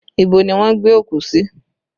Ibo ni wọ́n gbé òkú sí?